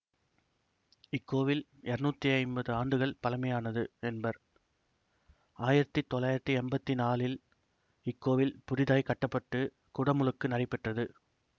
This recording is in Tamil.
இக்கோவில் இருநூத்தி ஐம்பது ஆண்டுகள் பழமையானது என்பர் ஆயிரத்தி தொள்ளாயிரத்தி எம்பத்தி நாலில் இக்கோவில் புதிதாய்க் கட்ட பட்டு குடமுழுக்கு நடைபெற்றது